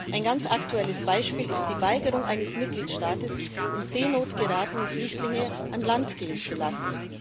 Ein ganz aktuelles Beispiel ist die Weigerung eines Mitgliedstaats, in Seenot geratene Flüchtlinge an Land gehen zu lassen.